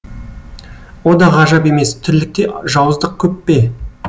о да ғажап емес тірлікте жауыздық көп пе